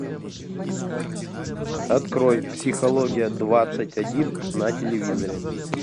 открой психология двадцать один на телевизоре